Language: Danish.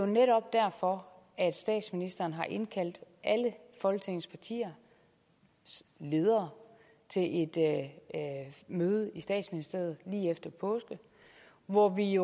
netop derfor at statsministeren har indkaldt alle folketingets partiers ledere til et møde i statsministeriet lige efter påske hvor vi